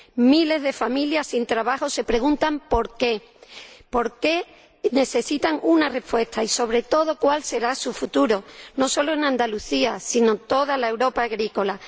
Miles de familias sin trabajo se preguntan por qué —necesitan una respuesta— y sobre todo cuál será su futuro, no solo en Andalucía, sino en toda la Europa agrícola.